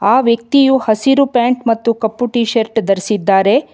ಆ ವ್ಯಕ್ತಿಯು ಹಸಿರು ಪ್ಯಾಂಟ್ ಮತ್ತು ಕಪ್ಪು ಟೀಶರ್ಟ್ ಧರಿಸಿದ್ದಾರೆ.